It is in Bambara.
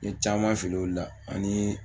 N ye caman fili olu la ani n ye